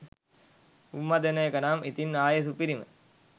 උම්මා දෙන එක නම් ඉතින් ආයේ සුපිරිම